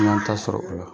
N y'an ta sɔrɔ o la